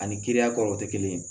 Ani kiriya kɔrɔw tɛ kelen ye